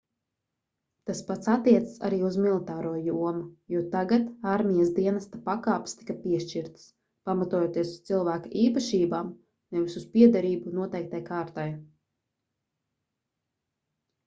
tas pats attiecas arī uz militāro jomu jo tagad armijas dienesta pakāpes tika piešķirtas pamatojoties uz cilvēka īpašībām nevis uz piederību noteiktai kārtai